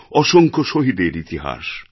অসংখ্য শহীদের ইতিহাস